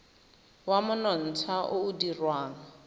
wa monontsha o o dirwang